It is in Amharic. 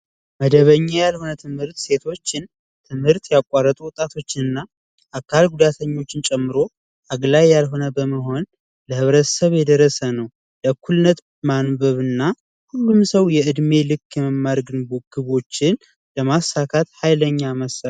መደበኛ ያልሆነ ትምህርት ሴቶችን ትምህርት ያቋረጡ ወጣቶችን እና የአካል ጉዳተኞችን ጨምሮ አግልይ ባለመሆን ለህብረተሰብ የደረሰ ነው። በእኩልነት ማንበብ እና ሁሉንም ሰው የእድሜ ልክ መማር ግቦችን ለማሳካት ሀይለኛ መሳሪያ ነው።